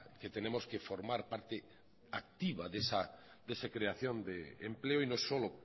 que tenemos que formar parte activa de esa creación de empleo y no solo